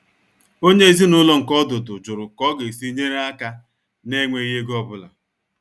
Onyé ezinúlọ̀ nke ọdụ́dụ̀ jụrụ̀ ká ọ̀ ga-èsí nyeré aka nà-ènwèghi égò ọ́búlà.